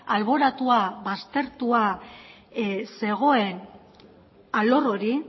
alboratua baztertua zegoen alor hori